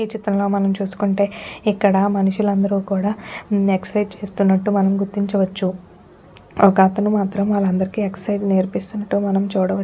ఈ చిత్రంలో మనం చూసుకుంటే ఇక్కడ మనుషులందరూ కూడా ఉమ్ చేస్తున్నట్లు మనం గుర్తించవచ్చుఒకతను మాత్రం వాళ్ళందరికీ ఎక్సర్సైజ్ నేర్పిస్తున్నట్లు మనం చూడవచ్చు.